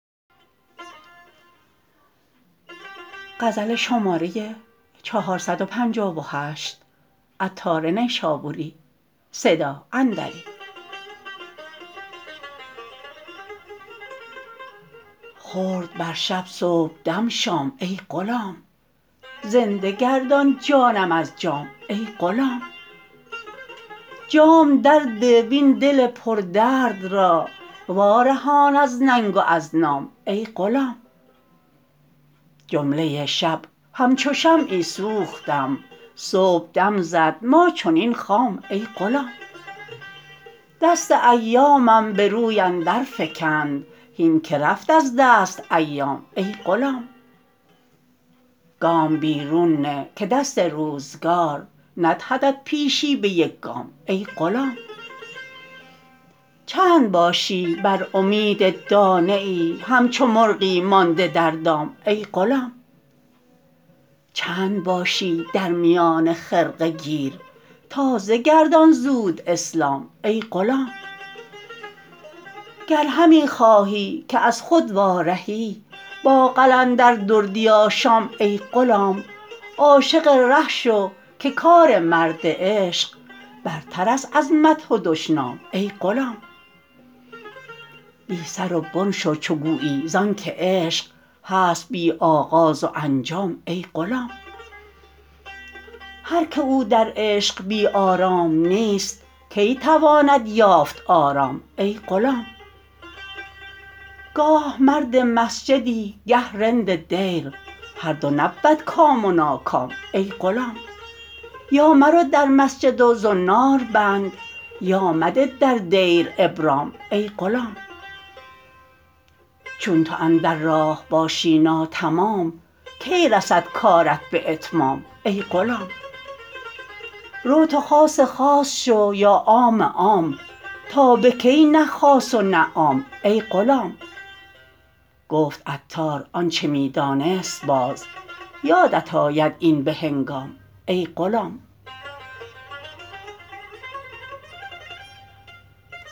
خورد بر شب صبحدم شام ای غلام زنده گردان جانم از جام ای غلام جام در ده و این دل پر درد را وارهان از ننگ و از نام ای غلام جمله شب همچو شمعی سوختم صبح دم زد ما چنین خام ای غلام دست ایامم به روی اندر فکند هین که رفت از دست ایام ای غلام گام بیرون نه که دست روزگار ندهدت پیشی به یک گام ای غلام چند باشی بر امید دانه ای همچو مرغی مانده در دام ای غلام چند باشی در میان خرقه گیر تازه گردان زود اسلام ای غلام گر همی خواهی که از خود وارهی با قلندر دردی آشام ای غلام عاشق ره شو که کار مرد عشق برتر است از مدح و دشنام ای غلام بی سر و بن شو چو گویی زانکه عشق هست بی آغاز و انجام ای غلام هر که او در عشق بی آرام نیست کی تواند یافت آرام ای غلام گاه مرد مسجدی گه رند دیر هر دو نبود کام و ناکام ای غلام یا مرو در مسجد و زنار بند یا مده در دیر ابرام ای غلام چون تو اندر راه باشی ناتمام کی رسد کارت به اتمام ای غلام رو تو خاص خاص شو یا عام عام تا به کی نه خاص و نه عام ای غلام گفت عطار آنچه می دانست باز یادت آید این به هنگام ای غلام